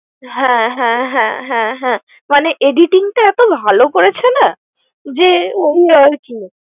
হ্যাঁ হ্যাঁ হ্যাঁ হ্যাঁ হ্যাঁ মানে editing টা এতো ভালো করেছে না যে ওগুলো আর কি।